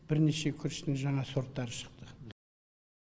бірнеше күріштің жаңа сорттары шықты